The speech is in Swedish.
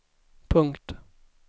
punkt